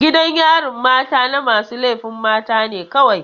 Gidan yarin mata na masu laifin mata ne kawai.